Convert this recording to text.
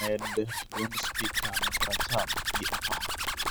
Med dwond spika makora cham gi apar